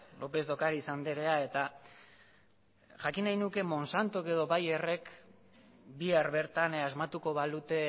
lópez de ocáriz andrea eta jakin nahi nuke monsantok edo bayerrek bihar bertan asmatuko balute